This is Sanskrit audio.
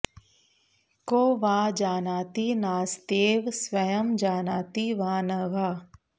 को वा जानाति नास्त्येव स्वयं जानाति वा न वा